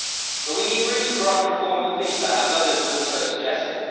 But we need root and branch reform of FIFA, as others have also suggested.